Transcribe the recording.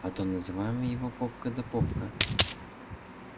а то называем его попка да попка